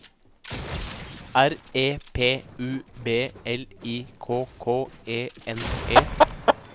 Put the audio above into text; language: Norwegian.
R E P U B L I K K E N E